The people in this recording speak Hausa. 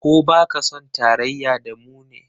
Ko ba ka son tarayya da mu ne?